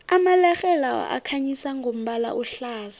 amalerhe lawa akhanyisa ngombala ohlaza